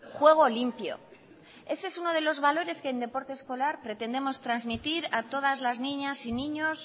juego limpio ese es uno de los valores que en deporte escolar pretendemos transmitir a todas las niñas y niños